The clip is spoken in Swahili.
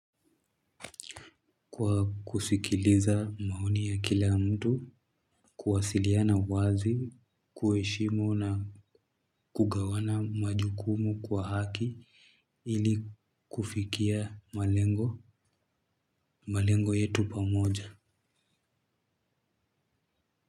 Kwa kusikiliza maoni ya kila mtu, kuwasiliana wazi, kuwaheshimu na kugawana majukumu kwa haki ili kufikia malengo, malengo yetu pamoja.